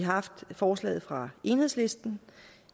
forslaget fra enhedslisten